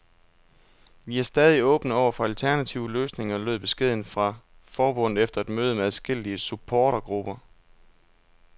Vi er stadig åbne over for alternative løsninger, lød beskeden fra forbundet efter et møde med adskillige supportergrupper.